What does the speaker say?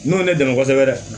N'o ye ne dɛmɛ kosɛbɛ dɛ